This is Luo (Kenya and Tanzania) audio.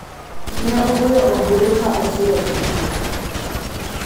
Ne ogoyoombulu ka osiro chikno.